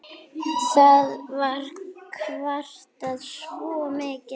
Það var kvartað svo mikið.